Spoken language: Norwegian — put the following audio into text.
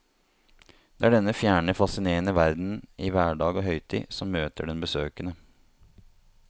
Det er denne fjerne, fascinerende verdenen i hverdag og høytid som møter den besøkende.